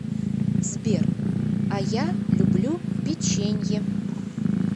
сбер а я люблю печенье